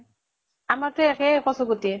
আমাৰ টো একেই কচু গুটি।